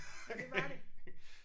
Nåh det var det